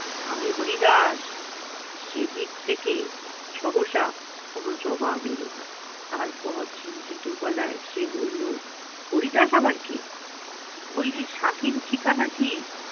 আমি হরিদাস। সেদিক থেকে সহসা কোনো জবাব এলো না। তারপর চিন্তিত গলায় সে বললো, হরিদাস আবার কে? বলি সাকিন ঠিকানা কি?